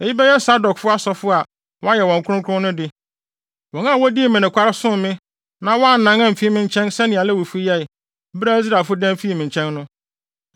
Eyi bɛyɛ Sadokfo asɔfo a wɔayɛ wɔn kronkron no de, wɔn a wodii me nokware som me na wɔannan amfi me nkyɛn sɛnea Lewifo yɛe, bere a Israelfo dan fii me nkyɛn no.